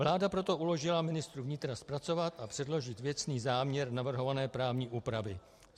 Vláda proto uložila ministru vnitra zpracovat a předložit věcný záměr navrhované právní úpravy.